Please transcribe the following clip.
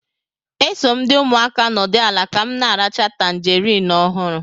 E so m ndi umuaka nọdụ ala ka m na-aracha tangarin ọhụrụ